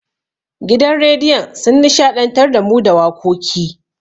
Gidan rediyon sun nishaɗantar da mu da wakoki.